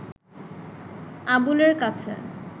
আবুলের কাছে